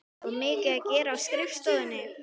Var mikið að gera á skrifstofunni?